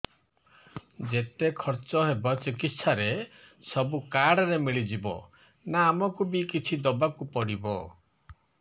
ଯେତେ ଖର୍ଚ ହେବ ଚିକିତ୍ସା ରେ ସବୁ କାର୍ଡ ରେ ମିଳିଯିବ ନା ଆମକୁ ବି କିଛି ଦବାକୁ ପଡିବ